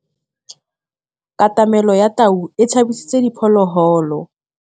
Katamêlô ya tau e tshabisitse diphôlôgôlô.